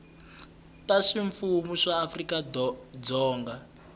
ta ximfumu ta afrika dzonga